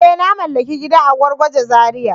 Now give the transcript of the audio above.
Eh! Na mallaki gida a Gwargwaje Zariya.